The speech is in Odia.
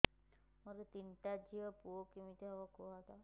ମୋର ତିନିଟା ଝିଅ ପୁଅ କେମିତି ହବ କୁହତ